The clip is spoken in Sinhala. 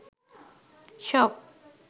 shop